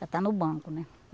Já está no banco, né?